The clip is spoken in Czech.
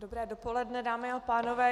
Dobré dopoledne, dámy a pánové.